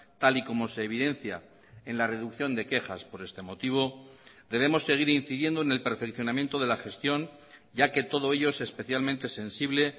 tal y como se evidencia en la reducción de quejas por este motivo debemos seguir incidiendo en el perfeccionamiento de la gestión ya que todo ello es especialmente sensible